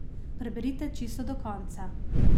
Preberite čisto do konca!